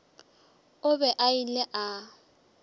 o be a ile a